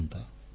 phone call